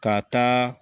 Ka taa